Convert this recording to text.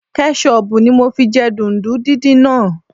Kẹ́ṣọbù ni mo fi jẹ dùndún díndín náà